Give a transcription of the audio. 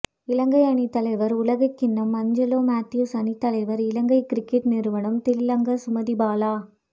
இலங்கை அணி தலைவர் உலகக்கிண்ணம் அஞ்சலோ மெத்தியூஸ் அணித்தலைவர் இலங்கை கிரிக்கெட் நிறுவனம் திலங்க சுமதிபால